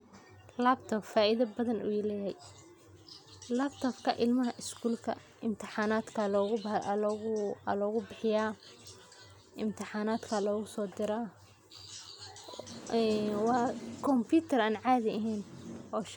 laptop faidho badhan ayu leyay, laptopka ilmaha iskulka imtixanatka aya logu bixiya, imtixanatka aya lagu sodira wa compitar an cadhi ahen.